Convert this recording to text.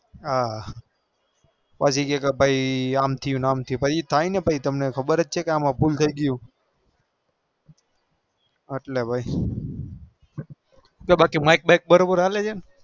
હા હા અમ થયું અમથું એજ થાય અમ ભૂલ થઇ બાકી મૈક મૈક બરો બાર હાલ પાસા કે અમ થાય પસી એમજ થાય એટલે ભાઈ